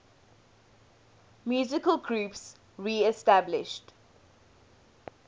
musical groups reestablished